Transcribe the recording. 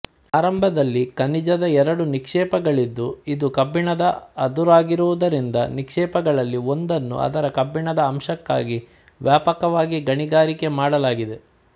ಆರಂಭದಲ್ಲಿ ಖನಿಜದ ಎರಡು ನಿಕ್ಷೇಪಗಳಿದ್ದು ಇದು ಕಬ್ಬಿಣದ ಅದುರಾಗಿರುವುದರಿಂದ ನಿಕ್ಷೇಪಗಳಲ್ಲಿ ಒಂದನ್ನು ಅದರ ಕಬ್ಬಿಣದ ಅಂಶಕ್ಕಾಗಿ ವ್ಯಾಪಕವಾಗಿ ಗಣಿಗಾರಿಕೆ ಮಾಡಲಾಗಿದೆ